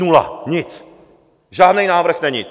Nula nic, žádný návrh není.